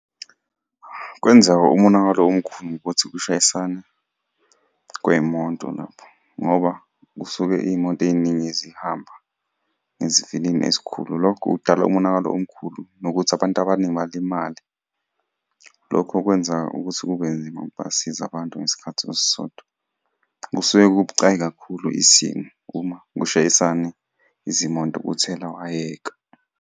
Kwenzeka umonakalo omkhulu ukuthi kushayisane kwey'moto nabo, ngoba kusuke iy'moto ey'ningi zihamba ngesivinini esikhulu. Lokho kudala umonakalo omkhulu, nokuthi abantu abaningi balimale. Lokho kwenza ukuthi kube nzima ukubasiza abantu ngesikhathi esisodwa. Kusuke kubucayi kakhulu isimo uma kushayisane izimoto kuthela wayeka.